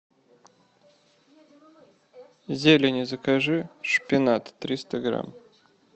зелени закажи шпинат триста грамм